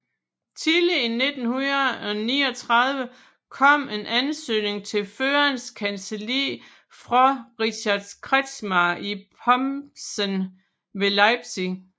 Tidligt i 1939 kom en ansøgning til Førerens kancelli fra Richard Kretschmar i Pomssen ved Leipzig